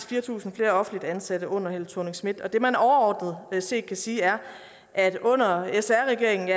fire tusind flere offentligt ansatte under helle thorning schmidt og det man overordnet set kan sige er at under sr regeringen